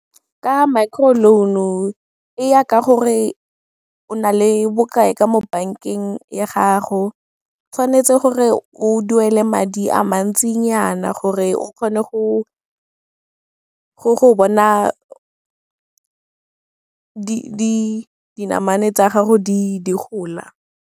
Ka micro loan-o, e ya ka gore o na le bokae ka mo bankeng ya gago, tshwanetse gore o duele madi a mantsi nyana gore o kgone go bona dinamane tsa gago di gola.